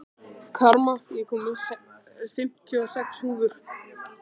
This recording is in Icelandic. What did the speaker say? Karma, ég kom með fimmtíu og sex húfur!